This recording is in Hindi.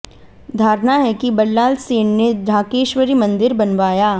धारणा है कि बल्लाल सेन ने ढाकेश्वरी मन्दिर बनवाया